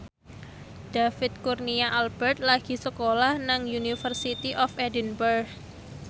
David Kurnia Albert lagi sekolah nang University of Edinburgh